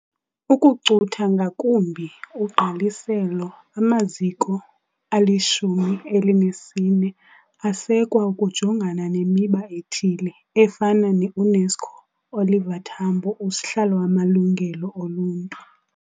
Ukucutha ngakumbi ugqaliselo, amaziko ali14 asekwa ukujongana nemiba ethile, efana neUNESCO Oliver Tambo USihlalo wamaLungelo oLuntu.